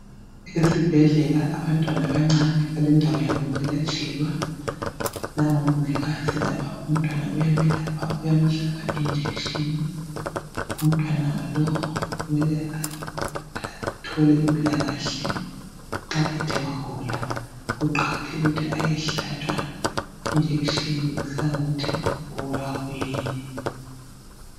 esibhedlela abantana abancane balendawo yabo yokulatshelwa nangu umongikazi lapha umntwana uyamelapha uyamhlaba i injection umntwana lo kumele athole impilakahle nxa ethe wagula ukuqakathekile ukuthi ayehlatshwa i injection kusiya ngokuthi ubulawa kuyini